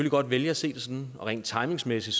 godt vælge at se det sådan og rent timingsmæssigt